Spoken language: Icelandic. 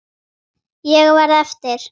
Ég verð eftir.